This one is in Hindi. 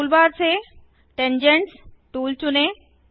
टूलबार से टैंजेंट्स टूल चुनें